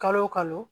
Kalo o kalo